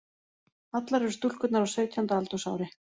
Allar eru stúlkurnar á sautjánda aldursári